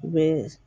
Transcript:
U bɛ